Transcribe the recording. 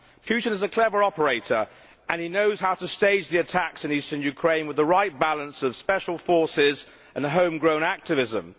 Putin is a clever operator, and he knows how to stage the attacks in eastern Ukraine with the right balance of special forces and home grown activism.